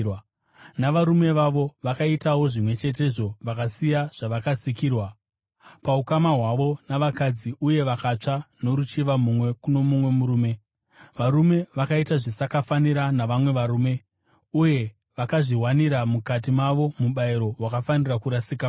Navarume vavo vakaitawo zvimwe chetezvo vakasiya zvavakasikirwa paukama hwavo navakadzi uye vakatsva noruchiva mumwe kuno mumwe murume. Varume vakaita zvisakafanira navamwe varume, uye vakazviwanira mukati mavo mubayiro wakafanira kurasika kwavo.